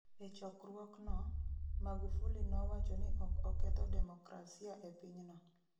E chokruokno, Magufuli nowacho ni ok oketho demokrasia e pinyno